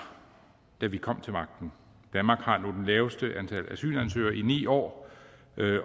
da vi kom til magten danmark har nu det laveste antal asylansøgere i ni år